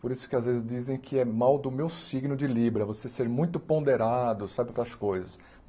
Por isso que às vezes dizem que é mal do meu signo de Libra, você ser muito ponderado, sabe, com as coisas.